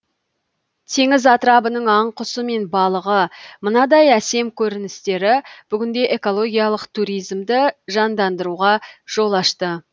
теңіз атырабының аң құсы мен балығы мынадай әсем көріністері бүгінде экологиялық туризмді жандандыруға жол ашты